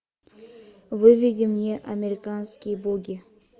выведи мне американские боги